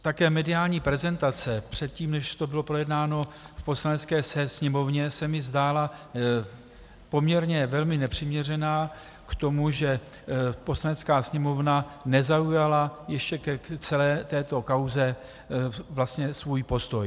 Také mediální prezentace předtím, než to bylo projednáno v Poslanecké sněmovně, se mi zdála poměrně velmi nepřiměřená k tomu, že Poslanecká sněmovna nezaujala ještě k celé této kauze vlastně svůj postoj.